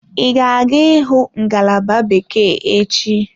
Ị ga-aga ịhụ ngalaba bekee echi?